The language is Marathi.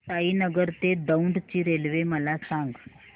साईनगर ते दौंड ची रेल्वे मला सांग